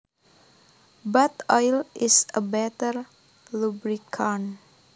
But oil is a better lubricant